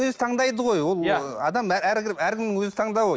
өзі таңдайды ғой ол адам әркімнің өз тандауы